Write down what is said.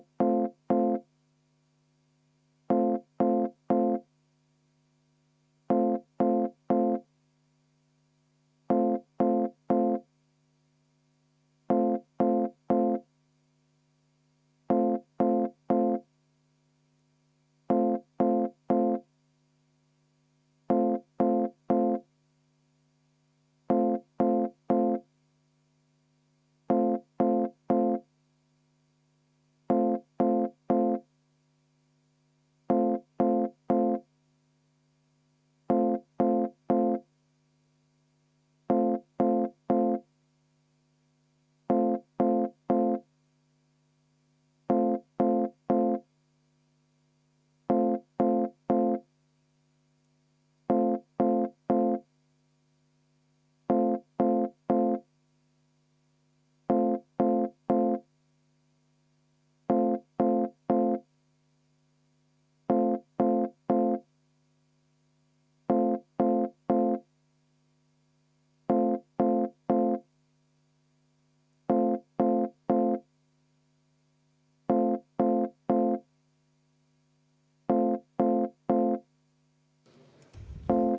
V a h e a e g